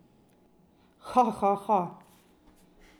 Ha, ha, ha.